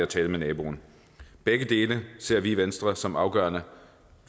tale med naboen begge dele ser vi i venstre som afgørende